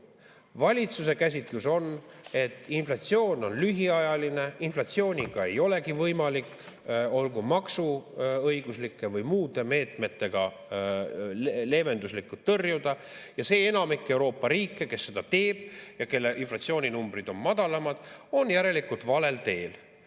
Valitsuse käsitlus on, et inflatsioon on lühiajaline, inflatsiooni ei olegi võimalik olgu maksuõiguslike või muude meetmetega leevenduslikult tõrjuda, ja see enamik Euroopa riike, kes seda teeb ja kelle inflatsiooninumbrid on madalamad, on järelikult valel teel.